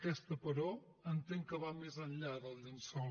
aquesta però entenc que va més enllà del llençol